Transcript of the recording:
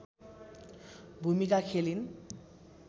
भुमिका खेलिन्